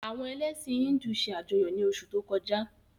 Àwọn elẹ̀sin Híndù se ajọyọ ni osu to koja.